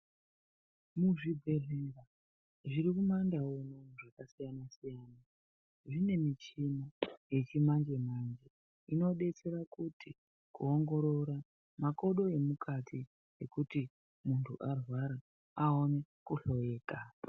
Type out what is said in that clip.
Muzvibhehlera zvirikumandau zvakasiyana siyana ,kunemichina yechimanje manje inodetsera kuti kuwongorora makodo emukati muntu arwara awane kuhloreka.